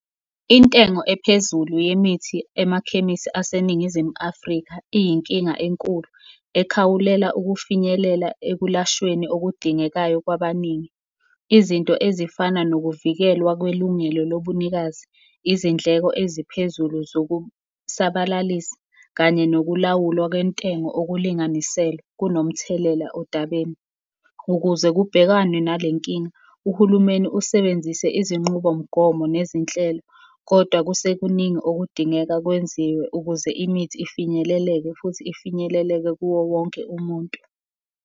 Intengo ephezulu yemithi emakhemisi aseNingizimu Afrika iyinkinga enkulu ekhawulela ukufinyelela ekulashweni okudingekayo kwabaningi. Izinto ezifana nokuvikelwa kwelungelo lobunikazi, izindleko eziphezulu zokusabalalisa kanye nokulawulwa kwentengo okulinganiselwe, kunomthelela odabeni. Ukuze kubhekanwe nale nkinga, uhulumeni usebenzise izinqubomgomo nezinhlelo, kodwa kusekuningi okudingeka kwenziwe ukuze imithi ifinyeleleke futhi ifinyeleleke kuwo wonke umuntu.